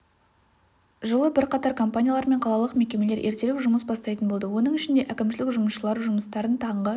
жылы бірқатар компаниялар мен қалалық мекемелер ертерек жұмыс бастайтын болды оның ішінде әкімшілік жұмысшылары жұмыстарын таңғы